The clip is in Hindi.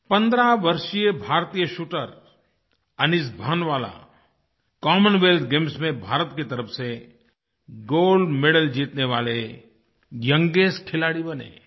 15 वर्षीय भारतीय shooter Anish Bhanwala Commonwealth Games में भारत की तरफ़ से गोल्ड मेडल जीतने वाले यंगेस्ट खिलाड़ी बने